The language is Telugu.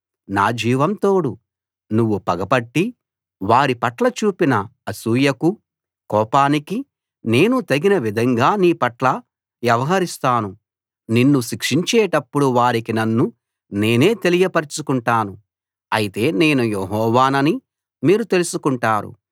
నా జీవం తోడు నువ్వు పగ పట్టి వారి పట్ల చూపిన అసూయకూ కోపానికీ నేను తగిన విధంగా నీ పట్ల వ్యవహరిస్తాను నిన్ను శిక్షించేటప్పుడు వారికి నన్ను నేనే తెలియపరచుకుంటాను అయితే నేను యెహోవానని మీరు తెలుసుకుంటారు